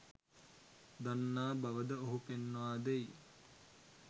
දන්නා බවද ඔහු පෙන්වා දෙයි